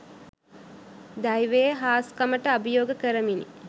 දෛවයේ හාස්කමට අභියෝග කරමිනි